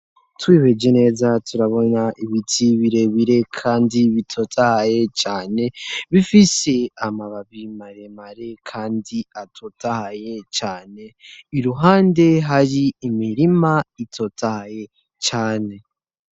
twihweje neza turabona ibiti birebire kandi bitotahaye cane, bifise amababi maremare kandi atotahaye cane, iruhande hari imirima itotahaye cane.